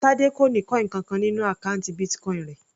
Tade kò ní coin kankan nínú àkọ́ùntì Bitcoin rẹ̀.